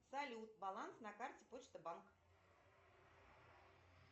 салют баланс на карте почта банк